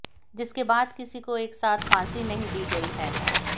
जिसके बाद किसी को एक साथ फांसी नहीं दी गई है